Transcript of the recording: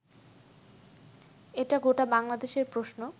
এটা গোটা বাংলাদেশের প্রশ্ন